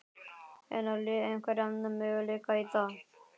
En á liðið einhverja möguleika í dag?